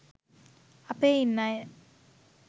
අපේඉන්න අය